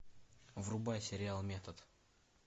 врубай сериал метод